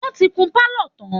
Wọ́n ti kun pálọ̀ tán